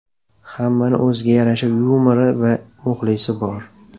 Hammani o‘ziga yarasha yumori va muxlisi bor.